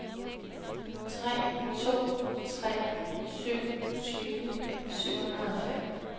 tre to tre syv tyve syv hundrede og fem